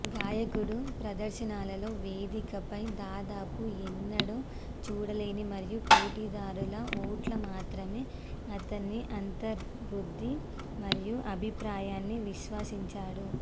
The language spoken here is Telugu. గాయకుడు ప్రదర్శనలలో వేదికపై దాదాపు ఎన్నడూ చూడలేదు మరియు పోటీదారుల ఓట్ల మాత్రమే అతని అంతర్బుద్ధి మరియు అభిప్రాయాన్ని విశ్వసించాడు